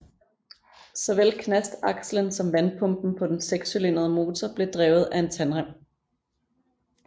Såvel knastakslen som vandpumpen på den sekscylindrede motor blev drevet af en tandrem